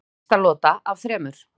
Fyrsta lota af þremur